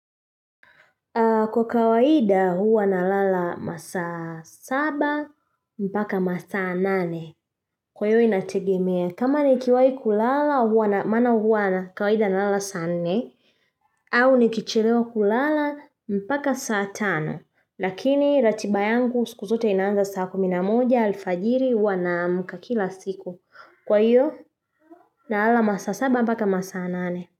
Kwa kawaida huwa nalala masaa saba mpaka masaa nane. Kwa hiyo inategemea kama nikiwai kulala huwa na maana huwa na kawaida nalala saa nne au nikichelewa kulala mpaka saa tano Lakini ratiba yangu siku zote inaanza saa kumi na moja alfajiri huwa naamuka kila siku. Kwa hiyo nalala masaa saba mpaka masaa nane.